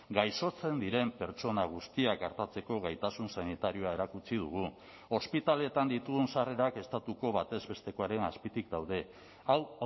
gaixotzen diren pertsona guztiak artatzeko gaitasun sanitarioa erakutsi dugu ospitaleetan ditugun sarrerak estatuko batez bestekoaren azpitik daude hau